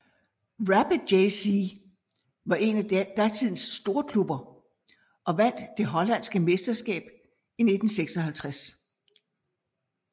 Rapid JC var en af datidens storklubber og vandt det hollandske mesterskab i 1956